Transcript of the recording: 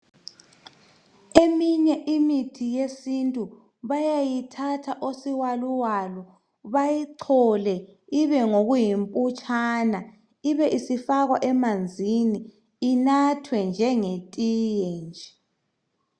Eminye imithi yesintu bayayithatha osiwaluwalu bayichole ibe ngokuyimputshana ibe isifakwa emanzini inathwe njengetiye nje.